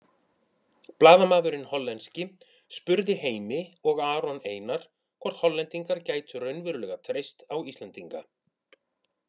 Blaðamaðurinn hollenski spurði Heimi og Aron Einar hvort Hollendingar gætu raunverulega treyst á Íslendinga.